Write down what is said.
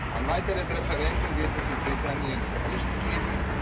Ein weiteres Referendum wird es in Britannien nicht geben.